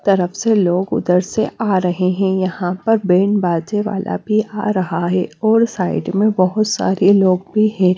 तरफ से लोग उधर से आ रहे हैं यहां पर बैंड बाजे वाला भी आ रहा है और साइड में बहुत सारे लोग भी हैं।